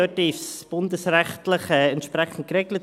Dort ist es bundesrechtlich entsprechend geregelt.